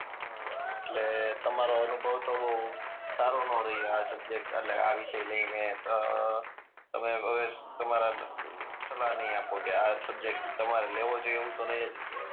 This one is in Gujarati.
અ એટલે તમારો અનુભવ તો બહું સારો ન રહ્યો આ સબ્જેક્ટ એટલે આ વિસય લઈ ને અ તમે હવે તમારા સલાહ નહી આપો કે આ સબ્જેક્ટ તમારે લેવો જોઈએ એવું તો નહી જ કયો